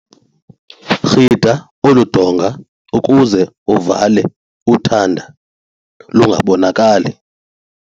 Rhida olu donga ukuze uvale uthanda lungabonakali.